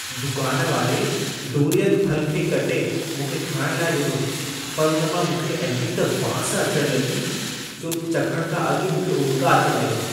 दुकान वारे डूरियन फल खे कटे मूंखे खाइण लाइ ॾिनो, पर उन मां मूंखे अहिड़ी त बांस अचण लॻी जो चखण खां अॻु ई मूंखे उॿिका अचण लॻा।